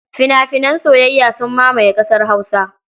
Fina-finan soyayya sun mamaye ƙasar Hausa.